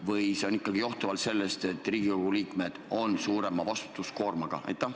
Või see on ikkagi johtuvalt sellest, et Riigikogu liikmed on suurema vastutuskoormaga?